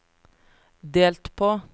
delt på